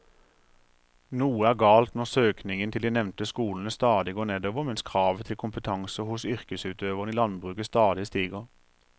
Noe er galt når søkningen til de nevnte skolene stadig går nedover mens kravet til kompetanse hos yrkesutøverne i landbruket stadig stiger.